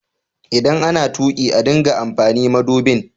ldan ana tuki a dinga amfani madubin.